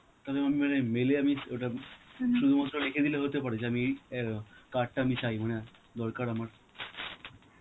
mail এ আমি ও~ ওটা শুধুমাত্র লিখে দিলে হতে পারে, যে আমি এই এ card টা আমি চাই, মানে দরকার আমার